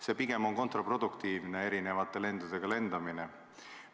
See on pigem kontraproduktiivne, see erinevate lendudega lendamine.